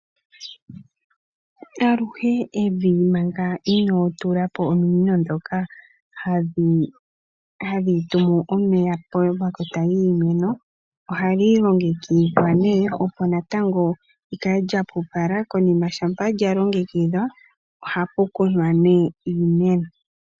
Aluhe Evi manga into tulapo ominino ndhoka hadhi tumultuous omeya po makota giimeno, ohali longekidhwa nee opo natango likale lya pupala, konima shampa lya longekidhwa, oha pu kunwa nee iimeno.